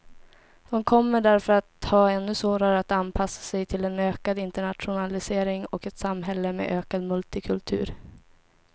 De kommer därför att ha ännu svårare att anpassa sig till en ökad internationalisering och ett samhälle med ökad multikultur.